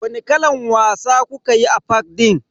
Wani kalan wasa kukayi a fak din?